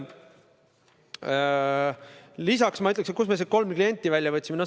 Lisaks sellest, kust me need kolm klienti välja võtsime.